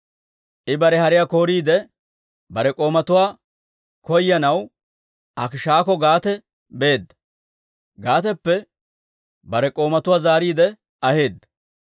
I bare hariyaa kooriide, bare k'oomatuwaa koyanaw Akiishakko Gaate beedda; Gaateppe bare k'oomatuwaa zaariide aheedda.